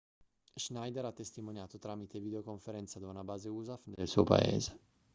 schneider ha testimoniato tramite videoconferenza da una base usaf del suo paese